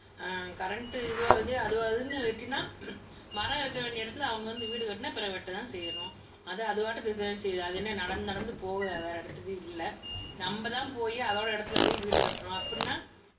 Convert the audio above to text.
ஆமா ஆஹ் கரண்ட் இதுவாகுது, அதுவாகுதுன்னு வெட்டினால் மரம் இருக்க வேண்டிய இடத்துல அவங்க வந்து வீடு கட்டினால் பிறகு வெட்டத்தான் செய்யணும் அது பாட்டுக்குதான் இருக்கத்தான் செய்யுது அது என்ன நடந்து நடந்து போகுதா வேற இடத்துக்கு இல்லை நம்மதான் போயி அதோட இடத்துல போய் வீடு கட்டுறோம் அப்படின்னா